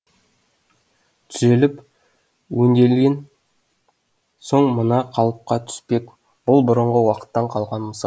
түзеліп өнделген соң мына қалыпқа түспек бұл бұрынғы уақыттан қалған мысал